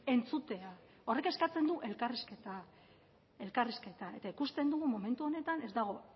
entzutea horrek eskatzen du elkarrizketa elkarrizketa eta ikusten dugu momentu honetan ez dago